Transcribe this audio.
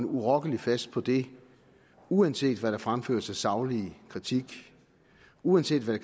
urokkeligt fast på det uanset hvad der fremføres af saglig kritik og uanset hvad